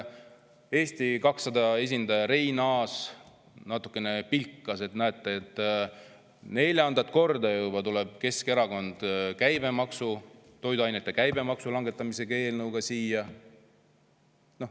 Eesti 200 esindaja Reinaas natukene pilkas, et näete, neljandat korda juba tuleb Keskerakond toiduainete käibemaksu langetamise eelnõuga siia.